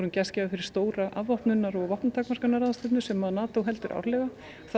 gestgjafar fyrir stóra afvopnunar og vopnatakmörkunarráðstefnu sem heldur árlega